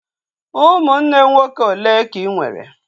Ụmụnne nwoke olee ka ị nwere?